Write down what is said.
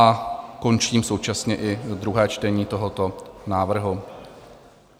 A končím současně i druhé čtení tohoto návrhu.